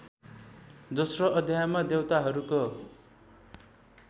दोस्रो अध्यायमा देवताहरूको